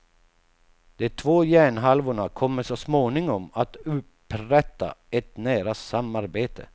De två hjärnhalvorna kommer så småningom att upprätta ett nära samarbete.